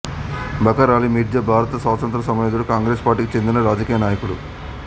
Bakr Ali Mirza భారత స్వాతంత్ర్య సమరయోధుడు కాంగ్రేసు పార్టీకి చెందిన రాజకీయనాయకుడు